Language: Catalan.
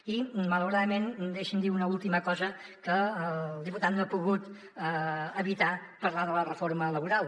i malauradament deixi’m dir una última cosa que el diputat no ha pogut evitar parlar de la reforma laboral